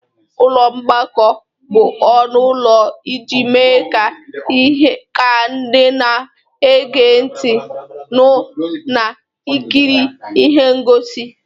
Ụlọ mgbakọ bụ ọnụ ụlọ iji mee ka ndị na-ege ntị nụ na ikiri ihe ngosi.